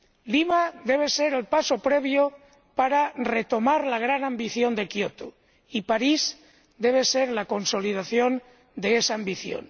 Lima debe ser el paso previo para retomar la gran ambición de Kioto, y París debe ser la consolidación de esa ambición.